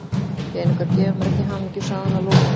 Peningar gefa mér ekki hamingju, sagði hann að lokum.